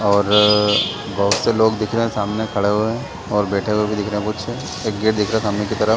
और बहुत से लोग दिख रहे है सामने खड़े हुए और बैठे हुए दिख रहे है बहोत से एक गेट दिख रहा है सामने की तरह--